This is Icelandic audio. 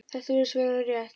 Þetta virðist vera rétt.